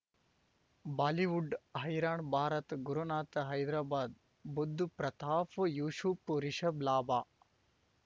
Bollywood ಹೈರಾಣ್ ಭಾರತ್ ಗುರುನಾಥ ಹೈದರಾಬಾದ್ ಬುಧ್ ಪ್ರತಾಪ್ ಯೂಶುಫ್ ರಿಷಬ್ ಲಾಭ